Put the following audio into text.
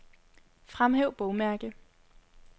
Fremhæv bogmærke.